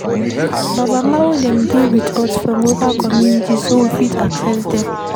Babalawo dem dey with us for local community so we fit access dem